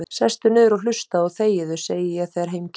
Sestu niður og hlustaðu og þegiðu, segi ég þegar heim kemur.